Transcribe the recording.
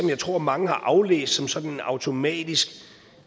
jeg tror mange har aflæst som sådan en automatisk